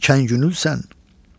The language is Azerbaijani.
ikən güllü sən.